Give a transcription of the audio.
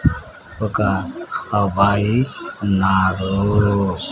ఒక అబ్బాయి ఉన్నారూ.